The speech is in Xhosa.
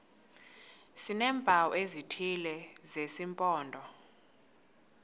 sineempawu ezithile zesimpondo